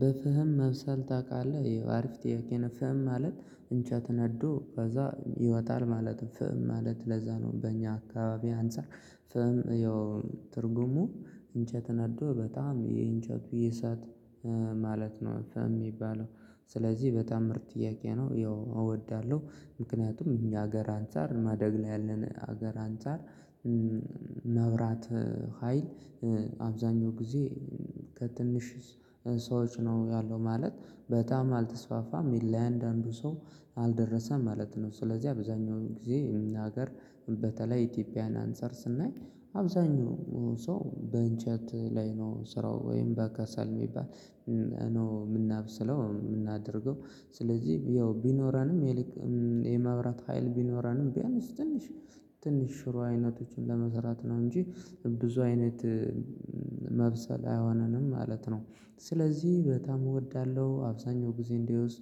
በፍህም መብሰል ታውቃለህ አሪፍ ጥያቄ ፍህም ማለት እንጨት ነዶ ከዛ ይወጣል ማለት ፍእም ማለት ለዛ ነው። በእኛ አካባቢ አንፃር ፍእም ያው ትርጉሙ እንጨት ነዶ በጣም የእንጨቱ የእሳት ማለት ነው ፈም የሚባለው። ስለዚህ በጣም ምርጥ ጥያቄ ነው ያው እወዳለሁ። ምክንያቱም እኛ ሀገር አንፃር ማደግ ላይ ያለን ሀገር አንፃር መብራት ሀይል አብዛኛው ጊዜ ከትንሽ ሰዎች ነው ያለው ማለት በጣም አልተስፋፋም የለም ለአንዳንዱ ሰው አልደረሰም ማለት ነው። ስለዚህ አብዛኛውን ጊዜ እኛ ሀገር በተለይ ኢትዮጵያን አንፃር ስናይ አብዛኛው ሰው በእንጨት ላይ ነው ስራው ወይም በከሰል የሚባል ነው የምናብስለው የምናደርገው። ስለዚህ ያው ቢኖረንም የመብራት ሀይል ቢኖረንም ቢኖርም ትንሽ ትንሽ ሽሮ አይነቶችን ለመሰራት ነው እንጂ ብዙ አይነት መብሰል አይሆነንም ማለት ነው። ስለዚህ በጣም እወዳለሁ አብዛኛው ጊዜ እንዲወስ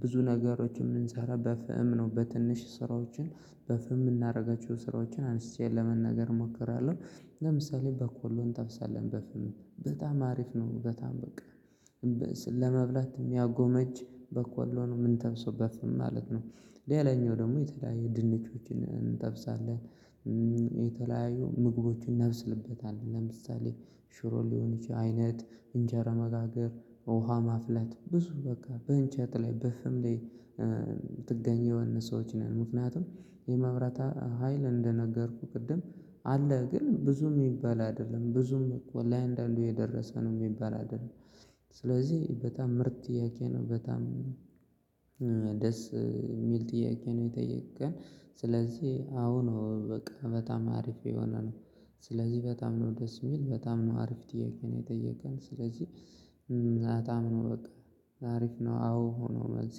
ብዙ ነገሮችን የምንሰራ በፍም ነው በትንሽ ስራዎችን በፍም የምናደርጋቸው ስራዎችን አንስቼ ለመናገር እሞክራለሁ። ለምሳሌ በቆሎን እንተብሰለን በፍም በጣም አሪፍ ነው በጣም በቃ ለመብላት የሚያጎመጅ በቆሎ ነው ምንጠብሰበት በፍም ማለት ነው። ሌላኛው ደግሞ የተለያየ ድንችዎችን እንጠብሳለን። የተለያየ ምግቦችን እናበስልበታለን ለምሳሌ ሽሮ ሊሆን ይችላል አይነት እንጀራ መጋገር ውሃ ማፍለት ብዙ በቃ በእንጨት ላይ በፍም ላይ። ጥገኛው የሆነ ሰዎች ነን ምክንያቱም የመብራት ሀይል እንደነገርኩህ ቅድም አለ ግን ብዙም የሚባላል አይደለም ብዙም ወላሂ አንዳነዱ የደረሰ የሚባል አይደለም። ስለዚህ በጣም ምርጥ ጥያቄ ነው በጣም ደስ የሚል ጥያቄ ነው የጠየከን። ስለዚህ አሁን በቃ በጣም አሪፍ የሆነ ነው። ስለዚህ በጣም ነው ደስ የሚል በጣም ነው አሪፍ ጥያቄ ነው የጠየቀን። ስለዚህ አታም በቃ አሪፍ ነው። አዎ ሆኖ መልስ